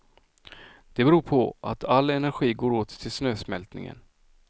Det beror på att all energi går åt till snösmältningen.